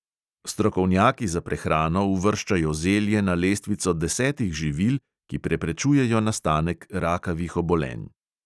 Strokovnjaki za prehrano uvrščajo zelje na lestvico desetih živil, ki preprečujejo nastanek rakavih obolenj.